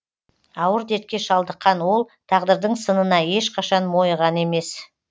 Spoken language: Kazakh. ауыр дертке шалдыққан ол тағдырдың сынына ешқашан мойыған емес